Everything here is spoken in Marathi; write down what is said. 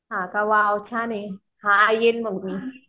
हां का वाव छान ये हां येईन मग मी